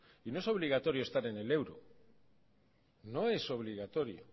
y no es obligatorio estar en el euro no es obligatorio